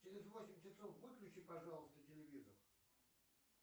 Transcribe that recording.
через восемь часов выключи пожалуйста телевизор